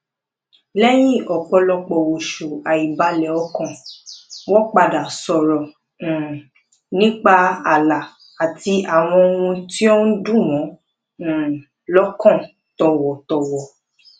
lẹyìn ọpọlọpọ oṣù àìbalẹ ọkàn wọn padà sọrọ um nípa ààlà àti àwọn ohun tí ó ń dùn wọn um lọkàn tọwọtọwọ